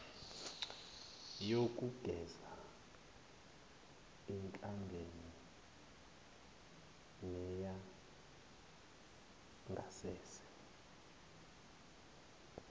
yokugeza ihlangene neyangasese